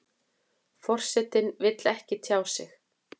Forsetinn vill ekki tjá sig